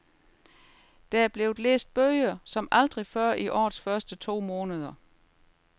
Der er blevet læst bøger som aldrig før i årets første to måneder.